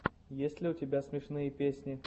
есть ли у тебя смешные песни